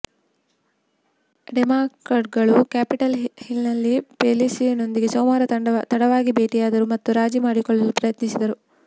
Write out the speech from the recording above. ಡೆಮಾಕ್ರಾಟ್ಗಳು Capitol ಹಿಲ್ನಲ್ಲಿ ಪೆಲೋಸಿಯೊಂದಿಗೆ ಸೋಮವಾರ ತಡವಾಗಿ ಭೇಟಿಯಾದರು ಮತ್ತು ರಾಜಿ ಮಾಡಿಕೊಳ್ಳಲು ಪ್ರಯತ್ನಿಸಿದರು